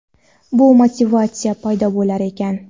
bu motivatsiya paydo bo‘lar ekan.